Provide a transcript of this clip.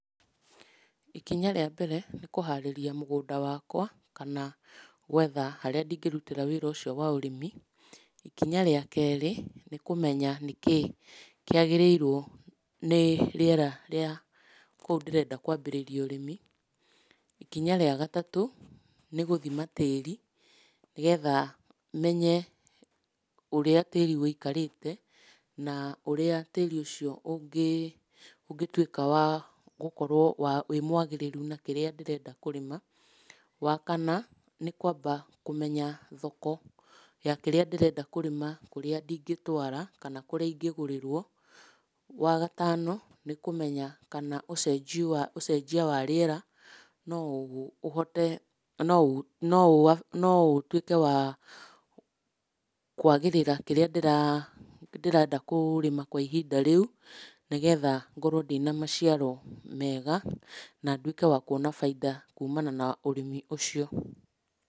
Ikinya rĩa mbere nĩ kũharĩria mũgũnda wakwa, kana gwetha harĩa ndingĩrutĩra wĩra ũcio wa ũrĩmi. Ikinya rĩa kerĩ nĩ kũmenya nĩkĩĩ kĩagĩrĩirwo nĩ rĩera rĩa kũu ndĩrenda kwambĩrĩria ũrĩmi. Ikinya rĩa gatatũ nĩ gũthima tĩri nĩgetha menye ũrĩa tĩri wĩikarĩte, na ũrĩa tĩri ũcio ũngĩtuĩka wa gũkorwo wa wĩ mwagĩrĩru na kĩrĩa ndĩrenda kũrĩma. Wa kana, nĩ kwamba kũmenya thoko ya kĩrĩa ndĩrenda kũrĩma kũrĩa ndingĩtwara kana kũrĩa ingĩgũrĩrwo. Wa gatano nĩ kũmenya kana ũcenjio wa ũcenjia wa rĩera no ũhote, no ũ, no ũ, no ũtuĩke wa kwagĩrĩra kĩrĩa ndĩrenda kũrĩma kwa ihinda rĩu, nĩgetha ngorwo ndĩna maciaro mega, na nduĩke wa kuona bainda kumana na ũrĩmi ũcio.